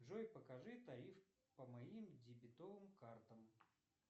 джой покажи тариф по моим дебетовым картам